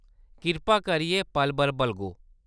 किरपा करियै पल-भर बलगो।